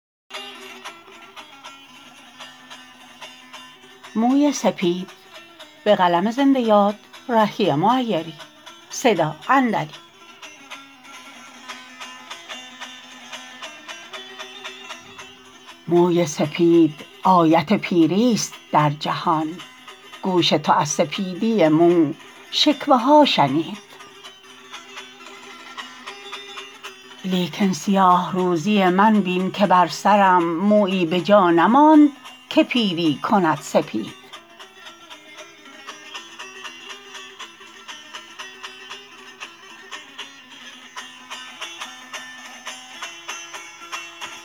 موی سپید آیت پیری است در جهان گوش تو از سپیدی مو شکوه ها شنید لیکن سیاه روزی من بین که بر سرم مویی به جا نماند که پیری کند سپید